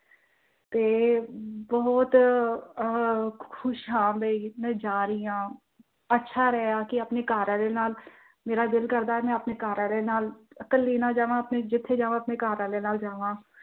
ਤੇ, ਬਹੁਤ ਅਹ ਖੁਸ਼ ਹਾਂ ਵੀ ਮੈਂ ਜਾ ਰਹੀ ਹਾਂ, ਅੱਛਾ ਰਿਹਾ ਕੀ ਆਪਣੇ ਘਰਵਾਲੇ ਨਾਲ, ਮੇਰਾ ਦਿਲ ਕਰਦਾ ਕਿ ਮੈਂ ਆਪਣੇ ਘਰਵਾਲੇ ਨਾਲ ਕੱਲੀ ਨਾ ਜਾਵਾਂ ਜਿੱਥੇ ਜਾਵਾਂ ਆਪਣੇ ਘਰਵਾਲੇ ਨਾਲ ਜਾਵਾਂ ।